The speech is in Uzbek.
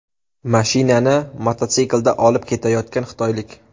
Mashinani mototsiklda olib ketayotgan xitoylik.